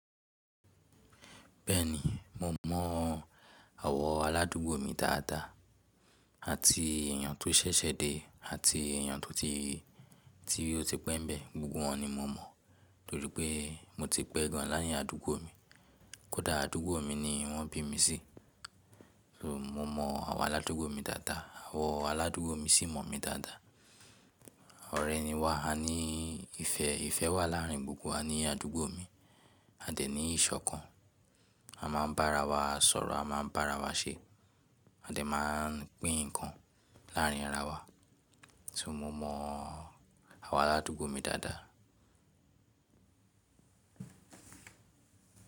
Bẹ́ẹ̀ni, mo mọ àwọn aládùúgbò mi dáadáa, àti èèyàn tó ṣẹ̀ṣẹ̀ dé àti èèyàn tí ó ti pẹ́ bẹ́ẹ̀, gbogbo wọ́n ni mo mọ̀ nítorí pé mo ti pẹ́ gan láàrín àdúgbò mi, kódà àdúgbò mi ni wọ́n bí mi sí. So, mo mọ àwọn aládùúgbò mi dáadáa, àwọn aládùúgbò mi sì mọ̀ mí dáadáa. Ọ̀rẹ́ ni wa, a ní ìfẹ́, ìfẹ́ wà láàrin gbogbo wa ní àdúgbò mi. A dẹ̀ ní ìṣọ̀kan, a máa ń bá ara wa sọ̀rọ̀, a máa ń bá ara wa ṣé, a dẹ̀ máa pín nǹkan láàrin ara wa. So mo mọ àwọn aládùúgbò mi dáadáa.